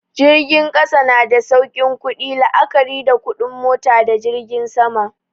Jirgin ƙasa na da saukin ƙudi la'akari da kuɗin mota da jirgin sama.